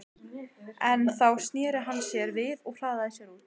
En þá sneri hann sér við og hraðaði sér út.